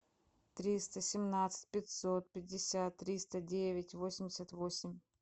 триста семнадцать пятьсот пятьдесят триста девять восемьдесят восемь